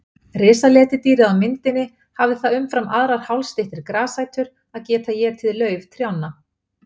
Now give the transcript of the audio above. Risaletidýrið á myndinni hafði það umfram aðrar hálsstyttri grasætur að geta étið lauf trjánna.